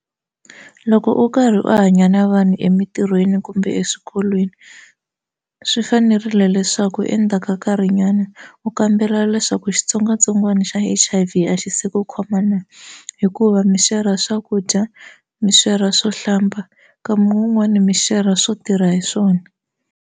Loko u karhi u hanya na vanhu emintirhweni kumbe eswikolweni swi fanerile leswaku endzhaku ka nkarhinyana u kambela leswaku xitsongwatsongwana xa H_I_V a xi se ku khoma na hikuva mi xerha swakudya mi xerha swo hlamba nkama wun'wani mi xerha swo tirha hi swona.